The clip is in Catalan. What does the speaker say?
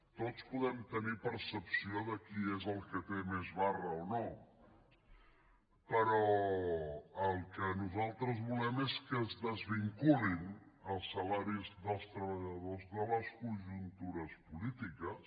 tots podem tenir percepció de qui és el que té més barra o no però el que nosaltres volem és que es desvinculin els salaris dels treballadors de les conjuntures polítiques